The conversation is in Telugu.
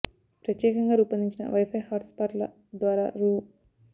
ప్రత్యేకగా రూపొందించిన వై ఫై హాట్ స్పాట్ ల ద్వారా రూ